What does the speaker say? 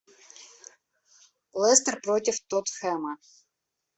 лестер против тоттенхэма